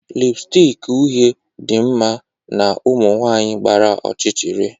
lipstick uhie dị mma na ụmụ nwanyị gbara ọchịchịrị